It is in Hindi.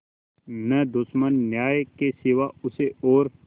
न दुश्मन न्याय के सिवा उसे और